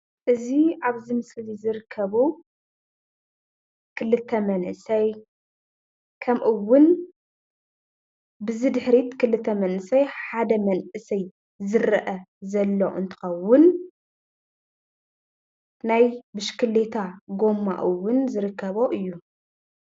እዚ ኣብዚ ምስሊ ዝርከቡ ክልተ መንእሰይ ከምእውን ብዚ ድሕሪት ክልተ መንእሰይ ሓድ መንእሰይ ዝረአ ዘሎ እንትኸውን ናይ ብሽክሌታ ጎማ እውን ዝርከቦ እዩ።